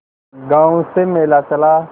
गांव से मेला चला